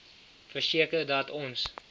verseker dat ons